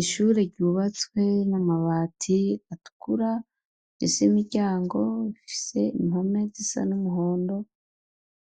Ishure ryubatswe n'amabati atukura, rifise imiryango ifise impome zisa n'umuhondo,